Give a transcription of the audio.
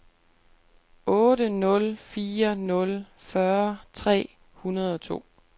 otte nul fire nul fyrre tre hundrede og to